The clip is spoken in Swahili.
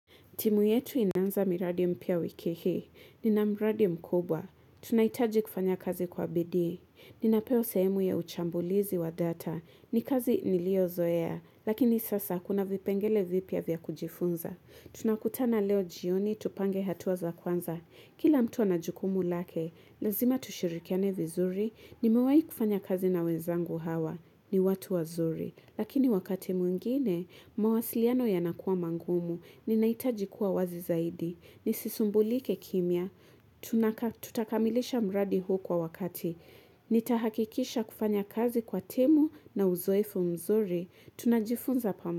Timu yetu inanza miradi mipya wiki hii, nina mradi mkubwa, tunahitaji kufanya kazi kwa bidii, ninapewa sehemu ya uchambuzi wa data, ni kazi niliyozoea, lakini sasa kuna vipengele vipya vya kujifunza, tunakutana leo jioni tupange hatua za kwanza, kila mtu ana jukumu lake, lazima tushirikiane vizuri, nimewahi kufanya kazi na wenzangu hawa, ni watu wazuri, Lakini wakati mwingine, mawasiliano yanakuwa magumu, ninahitaji kuwa wazi zaidi. Nisisumbulike kimya, tutakamilisha mradi huu kwa wakati. Nitahakikisha kufanya kazi kwa timu na uzoefo mzuri. Tunajifunza.